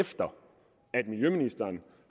efter at miljøministeren